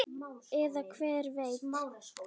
Eða hver veit?